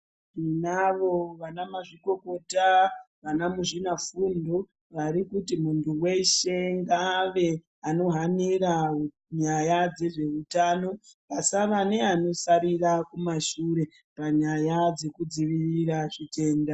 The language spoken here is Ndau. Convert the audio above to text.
Tinavo vana mAzvikokota vana muzvina fundo vari kuti muntu weshe ngaave anohanira nyaya dzezveutano pasava naanosarira kumashure Panyaya dzekudzivirira chitenda.